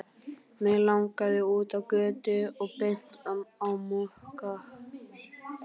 Mig langaði út á götu og beint á Mokka.